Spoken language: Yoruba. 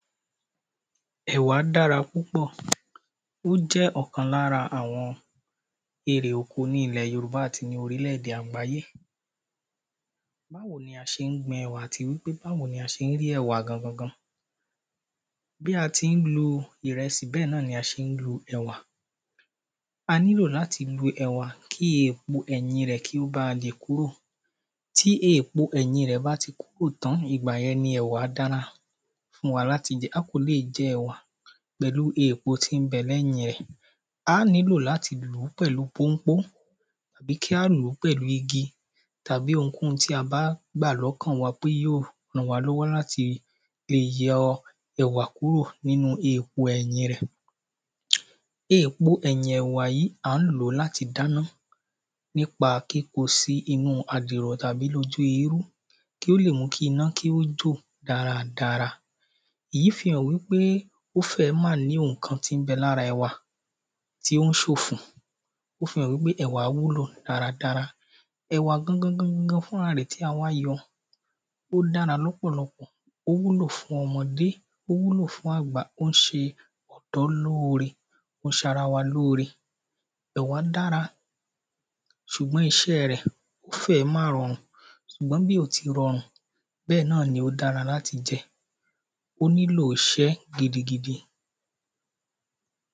È̩wá dára púpò̩. Ó jé̩ ò̩kan lára àwo̩n erè oko ní ilè̩ Yorùbá àti ní orílè̩-èdè àgbáyé. Báwo ni a s̩e ń gbin è̩wà àti pé báwo ni a s̩e ń rí è̩wà gangangan? Bí a ti ń lo ìre̩sì bé̩è̩ náà ni a s̩e ń lo è̩wà. A nílò láti lu è̩wà kí èpo e̩yìn rè̩ kí ó ba lè kúrò. Tí eèpo è̩yìn rè̩ bá ti kúrò tán, ìgbà ye̩n ni è̩wà dára fún wa láti je̩. A kò lè je̩ è̩wà pè̩lú eèpo tí ń be̩ lé̩yìn rè̩. Á ní láti lú pè̩lu pónpó. Tàbí kí á lú pè̩lú igi. Tàbí ohunkóhun tí a bá gbà ló̩kàn wa pé yó ràn wá ló̩wó láti yo̩ è̩wà kúrò nínú èpo è̩yìn rè̩. Eèkpo è̩yìn e̩wà yí à ń lò ó láti dáná. Nípa kíko sí inú àdìrò̩ tàbí ojú erú. Kí ó lè mú kí iná kí ó jò dára dára. Èyí fi hàn pé ó fé̩è̩ má ní ohun kan tí ń be̩ lára è̩wà tí ó ń sòfò. Ó fi hàn wípé è̩wà wúlò dára dára. È̩wà gangangangan fúnra rè̩ ó dára ló̩pò̩lo̩pò̩. Ó wúlò fún o̩mò̩dé Ó wúlò fún àgbà Ó ń s̩e ò̩dó̩ lóore. Ó s̩ara wa lóore. È̩wà dára. Sùgbó̩n is̩é̩ rè̩ ó fé̩è̩ má ro̩rù. Sùgbó̩n bí ò ti ro̩rùn, bé̩è̩ náà n ó dára láti je̩. Ó nílò is̩é̩ gidi gidi.